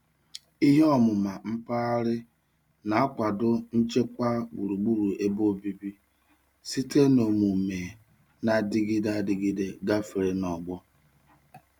Ihe ọmụma mpaghara na-akwado nchekwa gburugburu ebe obibi site na omume na-adịgide adịgide gafere n'ọgbọ.